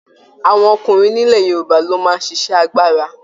Àwọn ọkùnrin nilẹ̀ Yorùbá lo máa n ṣiṣẹ àgbàrá.